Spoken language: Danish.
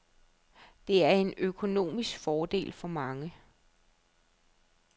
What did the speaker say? Det er en økonomisk fordel for mange.